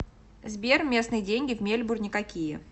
сбер местные деньги в мельбурне какие